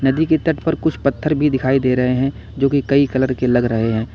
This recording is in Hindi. नदी के तट पर कुछ पत्थर भी दिखाई दे रहे हैं जो कि कई कलर के लग रहे हैं।